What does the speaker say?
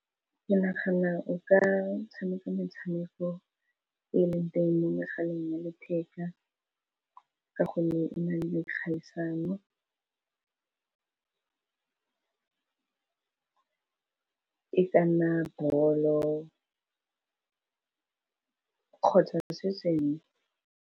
Ke nagana o ka tshameka metshameko e leng teng mo mogaleng wa letheka, ka gonne e na le dikgaisano e ka nna bollo kgotsa se sengwe.